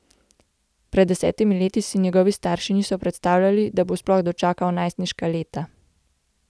Pred desetimi leti si njegovi starši niso predstavljali, da bo sploh dočakal najstniška leta.